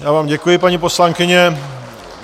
Já vám děkuji, paní poslankyně.